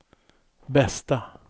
bästa